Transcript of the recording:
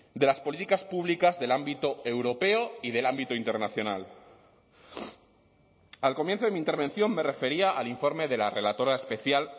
de las políticas públicas del ámbito europeo y del ámbito internacional al comienzo de mi intervención me refería al informe de la relatora especial